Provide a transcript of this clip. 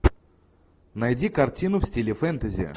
найди картину в стиле фэнтези